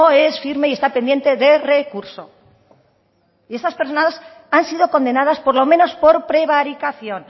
es firme y está pendiente de recurso y estas personas han sido condenadas por lo menos por prevaricación